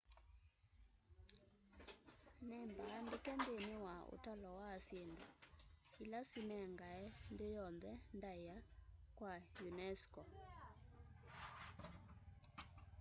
nĩmbaandĩke nthĩnĩ wa ũtalo wa syĩndũ ila sinengae nthĩ yonthe ndaĩa wa unesco